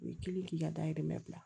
U ye kelen k'i ka dayirimɛ bila